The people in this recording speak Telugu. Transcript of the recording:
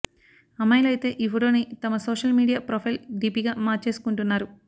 అమ్మాయిలు అయితే ఈ ఫోటోని తమ సోషల్ మీడియా ప్రొఫైల్ డీపీగా మార్చేసుకుంటున్నారు